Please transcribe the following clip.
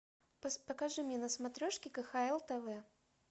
покажи мне на смотрешке кхл тв